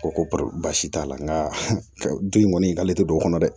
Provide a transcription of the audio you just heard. Ko ko pasi t'a la nka den kɔni k'ale tɛ don o kɔnɔ dɛ